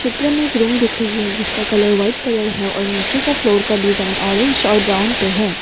चित्र में एक रूम दिख रही है जिसका कलर व्हाइट कलर है और नीचे के फ्लोर का डिजाइन ऑरेंज और ब्राउन पे है।